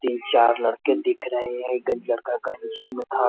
तीन-चार लड़के दिख रहें हैं। ई गंजीया का गंजी में था। --